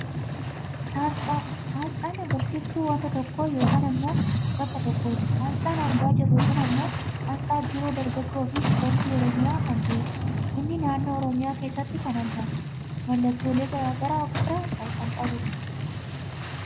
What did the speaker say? Aasxaa, aasxaan agarsiisftuu wanta tokko yookaan ammoo bakka tokkooti, aasxaan argaa jirru kun ammoo aasxaa Biiroo dargaggoo fi ispoortii oromiyaa kan ta'edha. Inni naannoo oromiyaa keessatti kan argamudha. Mallattoolee gara garaa of irraa kan qabudha.